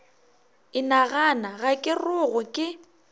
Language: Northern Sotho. inagana ga ke rogwe ke